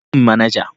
Kira min manajan.